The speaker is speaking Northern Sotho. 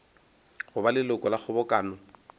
go ba leloko la kgobokano